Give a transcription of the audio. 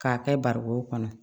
K'a kɛ barikon kɔnɔ